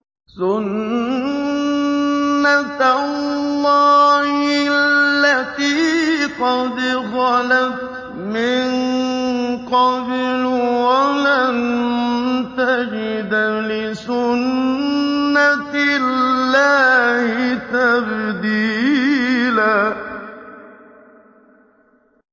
سُنَّةَ اللَّهِ الَّتِي قَدْ خَلَتْ مِن قَبْلُ ۖ وَلَن تَجِدَ لِسُنَّةِ اللَّهِ تَبْدِيلًا